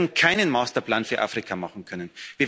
Wir werden keinen Masterplan für Afrika machen können.